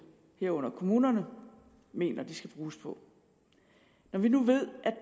herunder kommunerne mener at de skal bruges på når vi nu ved